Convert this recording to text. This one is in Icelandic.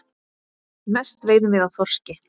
Mest veiðum við af þorski.